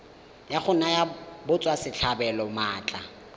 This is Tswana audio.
la go naya batswasetlhabelo maatla